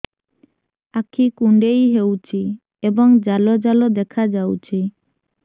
ଆଖି କୁଣ୍ଡେଇ ହେଉଛି ଏବଂ ଜାଲ ଜାଲ ଦେଖାଯାଉଛି